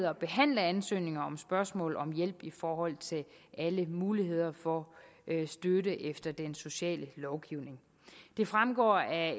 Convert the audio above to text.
at behandle ansøgninger om spørgsmål om hjælp i forhold til alle muligheder for støtte efter den sociale lovgivning det fremgår af